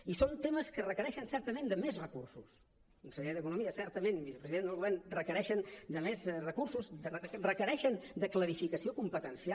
i són temes que requereixen certament més recursos conseller d’economia certament vicepresident del govern requereixen més de recursos requereixen clarificació competencial